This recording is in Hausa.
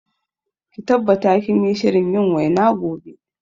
Ki tabbata kinyi shirin yin waina gobe